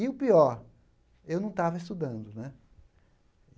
E o pior, eu não estava estudando, né?